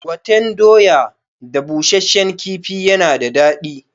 Gwaten doya da bushashshen kifi yana da dadi